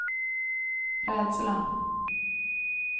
rädsla